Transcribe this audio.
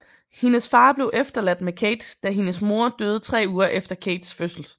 Hendes far blev efterladt med Cate da hendes mor døde tre uger efter Cates fødsel